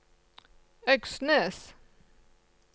Øksnes